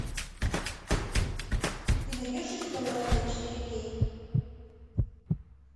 ты найдешь у себя дорога четыре кей